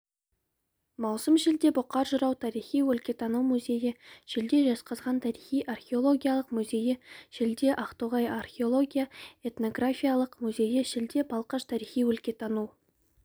маусым шілде бұқар-жырау тарихи-өлкетану музейі шілде жезқазған тарихи-археологиялық музейі шілде ақтоғай археология-этнографиялық музейі шілде балқаш тарихи-өлкетану